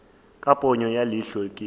ka ponyo ya leihlo ke